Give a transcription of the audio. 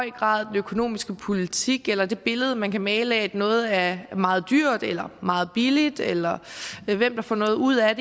økonomiske politik eller det billede man kan male af at noget er meget dyrt eller meget billigt eller hvem der får noget ud af